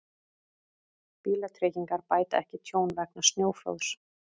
Bílatryggingar bæta ekki tjón vegna snjóflóðs